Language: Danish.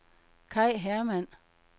Kai Hermann